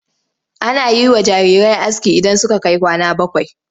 Ana yi wa jarirai aski idan suka kai kwana bakwai.